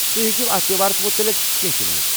تُہۍ ہیٚکو اتھ تہوارَس متعلِق کینٛہہ تہِ ؤنِتھ؟